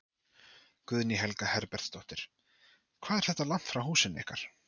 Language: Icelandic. Guðný Helga Herbertsdóttir: Hvað er þetta langt frá húsinu ykkar?